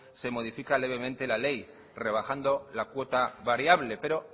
se modifica levemente la ley rebajando la cuota variable pero